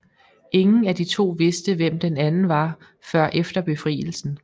Ingen af de to vidste hvem den anden var før efter Befrielsen